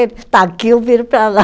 Ele está aqui, eu viro para lá.